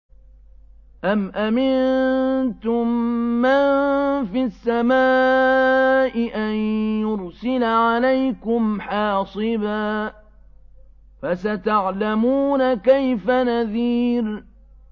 أَمْ أَمِنتُم مَّن فِي السَّمَاءِ أَن يُرْسِلَ عَلَيْكُمْ حَاصِبًا ۖ فَسَتَعْلَمُونَ كَيْفَ نَذِيرِ